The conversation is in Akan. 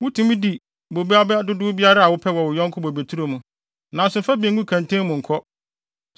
Wutumi di bobe aba dodow biara a wopɛ wɔ wo yɔnko bobeturo mu, nanso mfa bi ngu kɛntɛn mu nkɔ.